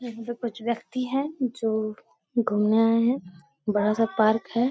यहाँ पे कुछ व्यक्ति हैं जो घूमने आए हैं बड़ा-सा पार्क है।